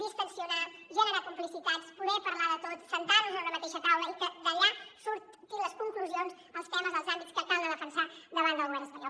destensar generar complicitats poder parlar de tot asseure’ns en una mateixa taula i que d’allà surtin les conclusions els temes els àmbits que cal defensar davant del govern espanyol